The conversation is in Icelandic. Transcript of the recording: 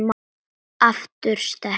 Aftur sterk.